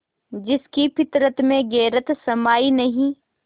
जिसकी फितरत में गैरत समाई नहीं